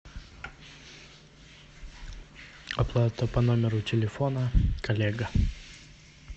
оплата по номеру телефона коллега